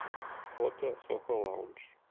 фото сохо лаундж